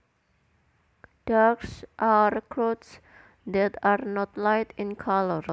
Darks are clothes that are not light in colour